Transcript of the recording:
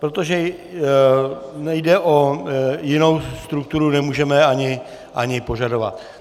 Protože nejde o jinou strukturu... nemůžeme ani požadovat.